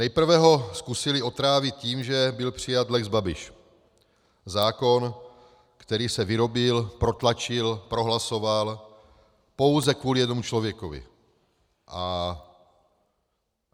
Nejprve ho zkusili otrávit tím, že byl přijat lex Babiš, zákon, který se vyrobil, protlačil, prohlasoval pouze kvůli jednomu člověku.